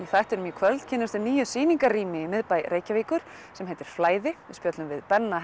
þættinum í kvöld kynnumst við nýju sýningarrými í miðbæ Reykjavíkur sem heitir flæði við spjöllum við Benna